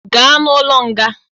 Gaa n'ụlọ nga!